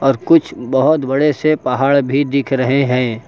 और कुछ बहुत बड़े से पहाड़ भी दिख रहे हैं।